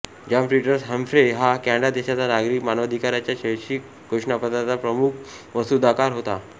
John Peters Humphrey हा Canada देशाचा नागरिक मानवाधिकाराच्या वैश्विक घोषणापत्राचा प्रमुख मसुदाकार होता